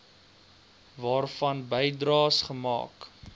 waarvan bydraes gemaak